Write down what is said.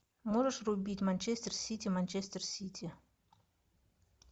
можешь врубить манчестер сити манчестер сити